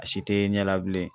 A si te ye ɲɛ la labilen